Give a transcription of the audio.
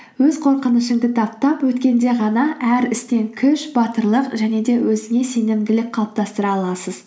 өз қорқынышыңды таптап өткенде ғана әр істен күш батырлық және де өзіңе сенімділік қалыптастыра аласыз